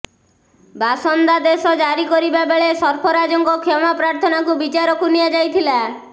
ବାସନ୍ଦାଦେଶ ଜାରି କରିବା ବେଳେ ସର୍ଫରାଜଙ୍କ କ୍ଷମାପ୍ରାର୍ଥନାକୁ ବିଚାରକୁ ନିଆଯାଇଥିଲା